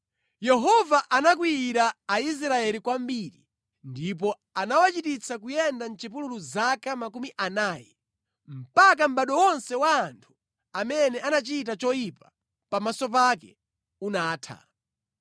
Yehova anakwiyira Aisraeli kwambiri ndipo anawachititsa kuyenda mʼchipululu zaka makumi anayi, mpaka mʼbado wonse wa anthu amene anachita choyipa pamaso pake unatha.